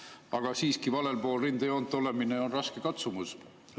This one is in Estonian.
Aga siiski, valel pool rindejoont olemine on raske katsumus.